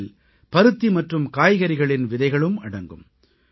இவற்றில் பருத்தி மற்றும் காய்கறிகளின் விதைகளும் அடங்கும்